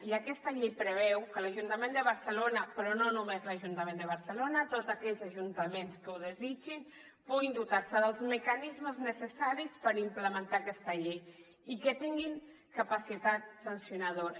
i aquesta llei preveu que l’ajuntament de barcelona però no només l’ajuntament de barcelona tots aquells ajuntaments que ho desitgin puguin dotar se dels mecanismes necessaris per implementar aquesta llei i que tinguin capacitat sancionadora